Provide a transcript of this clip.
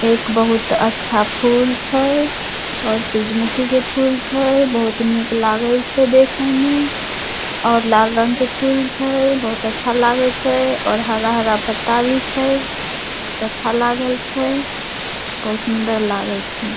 एक बहुत अच्छा फूल छै और सूरजमुखी के फूल छै बहुत निक लागे छै देखे में और लाल रंग के फूल छै बहुत अच्छा लागे छै और हरा-हरा पत्ता भी छै बहुत अच्छा लागल छै बहुत सुंदर लागे छै।